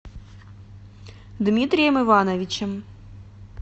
дмитрием ивановичем